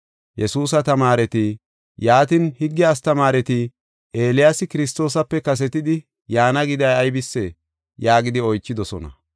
Yesuusa tamaareti, “Yaatin, higge astamaareti Eeliyaasi Kiristoosape kasetidi yaana giday aybisee?” yaagidi oychidosona.